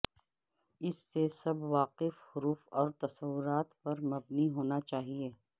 اس سے سب واقف حروف اور تصورات پر مبنی ہونا چاہئے